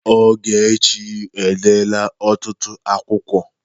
Ọgechi e dela ọtụtụ akwụkwo